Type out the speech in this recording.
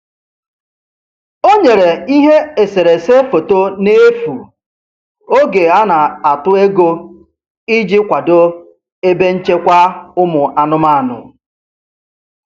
O nyere ihe eserese foto n'efu oge a na-atụ ego iji kwado ebe nchekwa ụmụ anụmanụ.